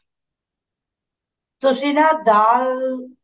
ਤੁਸੀਂ ਨਾ ਦਾਲ